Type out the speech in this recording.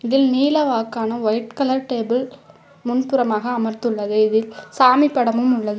இதில் நீலவாக்கான white colour table முன்புறமாக அமர்துள்ளது இதில் சாமி படமும் உள்ளது.